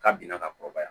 K'a bina ka kɔrɔbaya